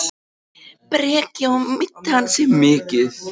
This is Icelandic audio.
Breki: Og meiddi hann sig mikið?